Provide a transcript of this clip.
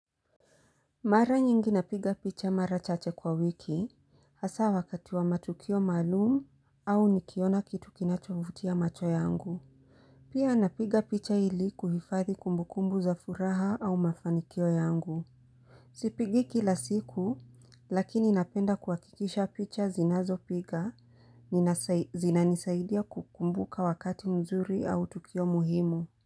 Mara nyingi napiga picha mara chache kwa wiki, hasa wakati wa matukio maalum au nikiona kitu kinachovutia macho yangu. Pia napiga picha ili kuhifathi kumbukumbu za furaha au mafanikio yangu. Sipigi kila siku, lakini napenda kuhakikisha picha zinazo piga, zinanisaidia kukumbuka wakati mzuri au tukio muhimu.